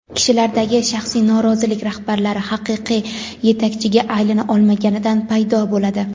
Kishilardagi shaxsiy norozilik rahbarlar haqiqiy yetakchiga aylana olmaganidan paydo bo‘ladi.